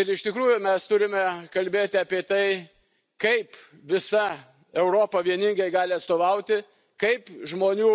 Ir iš tikrųjų, mes turime kalbėti apie tai, kaip visa Europa vieningai gali atstovauti, kaip žmonių